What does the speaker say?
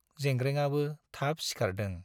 जेंग्रेंआबो थाब सिखारदों।